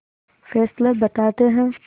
Fessler बताते हैं